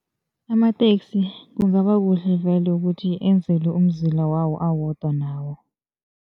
Amateksi kungaba kuhle vele ukuthi enzelwe umzila wodwa nawo.